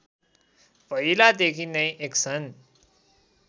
पहिलादेखि नै एक्सन